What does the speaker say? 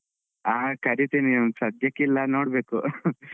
ಹಾ ಕರೀತೀನಿ ಸಧ್ಯಕ್ಕಿಲ್ಲಾ ನೋಡ್ಬೇಕು .